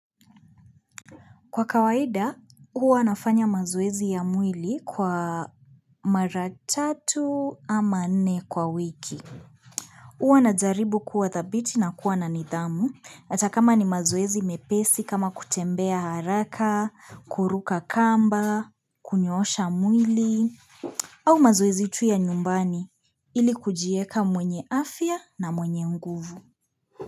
Kwa kawaida, huwa nafanya mazoezi ya mwili kwa mara tatu ama nne kwa wiki. Huwa najaribu kuwa dhabiti na kuwa na nidhamu. Atakama ni mazoezi mepesi kama kutembea haraka, kuruka kamba, kunyoosha mwili, au mazoezi tu ya nyumbani ili kujieka mwenye afya na mwenye nguvu.